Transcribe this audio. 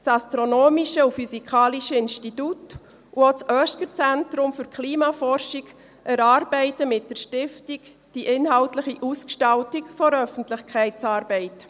Das Astronomische und Physikalische Institut und auch das OeschgerZentrum für Klimaforschung erarbeiten mit der Stiftung die inhaltliche Ausgestaltung der Öffentlichkeitsarbeit.